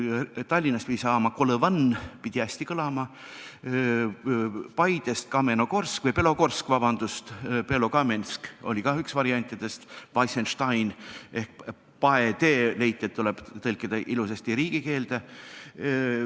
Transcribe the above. Tallinnast pidi saama Kolõvan – pidi hästi kõlama –, Paidest Belogorsk, Belokamensk oli ka üks variantidest, leiti, et Weissenstein ehk Paetee tuleb tõlkida ilusasti riigikeelde.